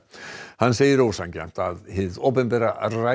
hann segir ósanngjarnt að hið opinbera ræni